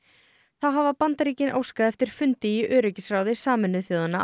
þá hafa Bandaríkin óskað eftir fundi í öryggisráði Sameinuðu þjóðanna á